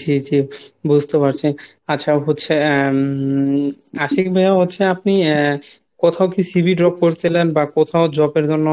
জি জি বুঝতে পারছি। আচ্ছা হচ্ছে আহ আশিক ভাইয়া হচ্ছে আপনি কোথাও কি CV drop করছিলেন বা কোথাও Job এর জন্য